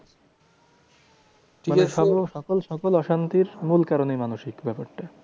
মানে সর্ব সকল সকল অশান্তির মূল কারণই মানসিক ব্যাপারটা।